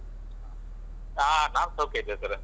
ಹ ನಾವ್ ಸೌಖ್ಯ ಇದ್ದೇವೆ sir ಅ.